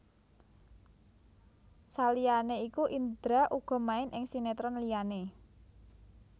Saliyané iku Indra uga main ing sinetron liyané